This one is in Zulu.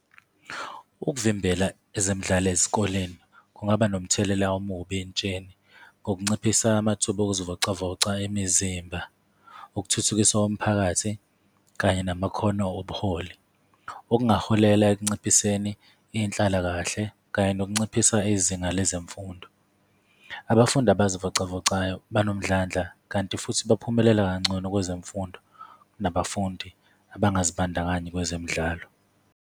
Ukuvimbela ezemidlalo ezikoleni kungaba nomthelela omubi entsheni ngokunciphisa amathuba okuzivocavoca imizimba, ukuthuthukiswa omphakathi, kanye namakhono obuholi, okungaholela ekunciphiseni inhlalakahle kanye nokunciphisa izinga lezemfundo. Abafundi abazivocavocayo banomdlandla, kanti futhi baphumelela kangcono kwezemfundo kunabafundi abangazibandakanyi kwezemidlalo.